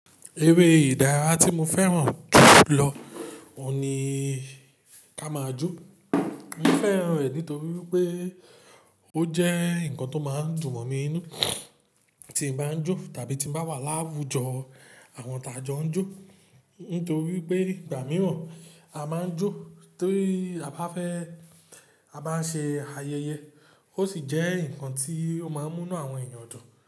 Eré ìdárayá tí mo fẹ́ràn jù lọ òun ní ká máa jó. Mo fẹ́ràn rẹ̀ nítorí pé ó jẹ́ nǹkan tó máa ń dùn mọ̀ mí inú tí mo bá ń jó tàbí tí mo bá wà láwùjọ àwọn tí a jọ ń jó. Nítorí pé ìgbà mìíràn a máa ń jó torí a bá fẹ́ a bá ń ṣe ayẹyẹ, ó sì jẹ́ nǹkan tí ó máa ń mú iná àwọn èèyàn dùn.